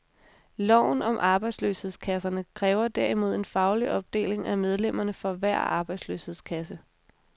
Loven om arbejdsløshedskasserne kræver derimod en faglig opdeling af medlemmerne for hver arbejdsløshedskasse.